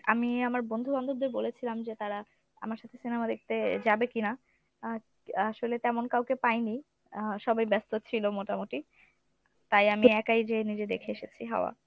আমি আমার বন্ধু-বান্ধবদের বলেছিলাম যে তারা আমার সাথে cinema দেখতে যাবে কিনা? আ ~ আসলে তেমন কাউকে পাইনি আহ সবাই ব্যস্ত ছিল মোটামুটি তাই আমি একাই যেয়ে নিজে দেখে এসেছি হাওয়া।